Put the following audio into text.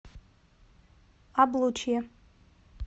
облучье